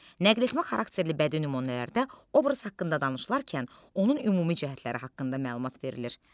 Nəqledici xarakterli bədii nümunələrdə obraz haqqında danışılarkən onun ümumi cəhətləri haqqında məlumat verilir.